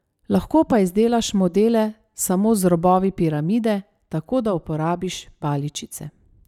Lahko pa izdelaš modele samo z robovi piramide, tako da uporabiš paličice.